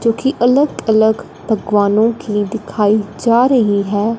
क्योंकि अलग-अलग बगवानों की दिखाई जा रही है।